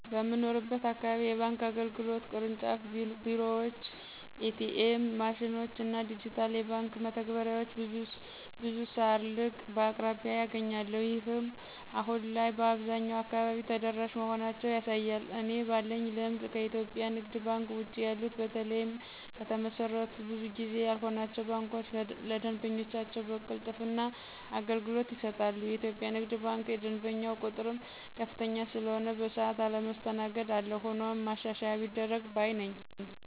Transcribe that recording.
በምኖርበት አካባቢ የባንክ አገልግሎት (ቅርንጫፍ ቢሮዎችን፣ ኤ.ቲ.ኤም ማሽኖችን እና ዲጂታል የባንክ መተግበሪያዎችን ) ብዙ ሳልርቅ በአቅራቢያየ አገኛለሁ። ይህም አሁን ላይ በአብዛኛው አካባቢ ተደራሽ መሆናቸውን ያሳያል። እኔ ባለኝ ልምድ ከኢትዮጵያ ንግድ ባንክ ውጭ ያሉት በተለይም ከተመሰረቱ ብዙ ጊዜ ያልሆናቸው ባንኮች ለደንበኞቻቸው በቅልጥፍና አገልግሎት ይሰጣሉ። የኢትዮጵያ ንግድ ባንክ የደንበኛው ቁጥርም ከፍተኛ ስለሆነ በሰዓት አለመስተናገድ አለ። ሆኖም ማሻሻያ ቢደረግ ባይ ነኝ።